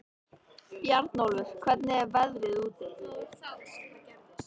Bjarnólfur, hvernig er veðrið úti?